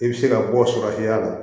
I bɛ se ka bɔ saga fiyɛ la